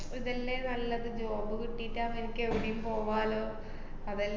ഇതല്ലേ നല്ലത് job കിട്ടീട്ട് അവനിക്ക് എവിടെയും പോവാല്ലോ. അത~